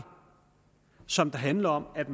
som handler om at